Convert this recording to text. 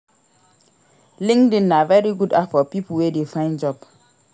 LinkedIn na very good app for pipo wey de find job